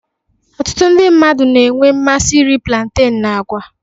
Ọtụtụ ndị mmadụ na-enwe mmasị iri planten na àgwa.